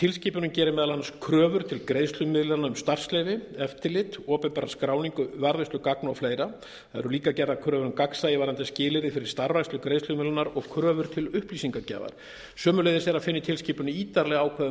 tilskipunin gerir meðal annars kröfur til greiðslumiðlunar um starfsleyfi eftirlit opinbera skráningu varðveislu gagna og fleira það eru líka gerðar kröfur um gagnsæi varðandi skilyrði fyrir starfrækslu greiðslumiðlunar og kröfur til upplýsingagjafar sömuleiðis er að finna í tilskipuninni ítarleg ákvæði um